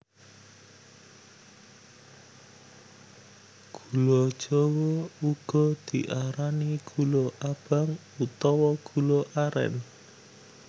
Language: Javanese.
Gula jawa uga diarani gula abang utawa gula arén